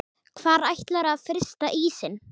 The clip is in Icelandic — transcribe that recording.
Hvar ætlarðu að frysta ísinn?